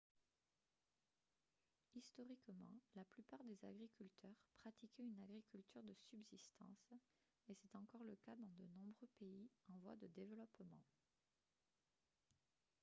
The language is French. historiquement la plupart des agriculteurs pratiquaient une agriculture de subsistance et c'est encore le cas dans de nombreux pays en voie de développement